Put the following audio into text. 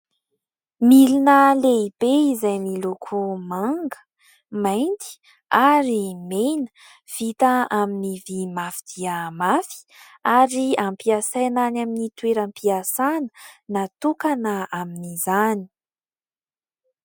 Milina lehibe izay miloko manga, mainty, ary mena. Vita amin'ny vỳ mafy dia mafy ary ampiasaina any amin'ny toeram-piasana natokana amin'izany.